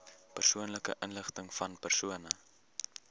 persoonlike inligtingvan persone